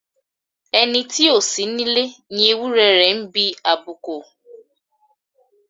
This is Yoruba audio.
Ẹni tí ó sí nílé ni ewúrẹ́ rẹ̀ ń bí àbúkọ.